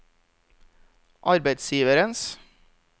arbeidsgivernes